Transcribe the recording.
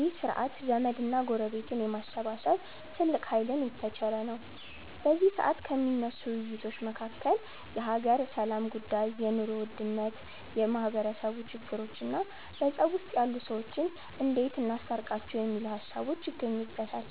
ይህ ስርዐት ዘመድ እና ጎረቤትን የማሰባሰብ ትልቅ ሃይልን የተቸረ ነው። በዚ ሰዐት ከሚነሱ ውይይቶች መካከል የሃገር ሰላም ጉዳይ፣ የ ኑሮ ውድነት፣ የማህበረሰቡ ችግሮቾ እና በፀብ ውስጥ ያሉ ሰዎችን እንዴት እናስታርቃቸው የሚሉት ሃሳቦች ይገኙበተል።